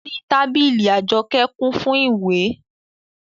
Orí tábìlì Àjọkẹ́ kún fún ìwé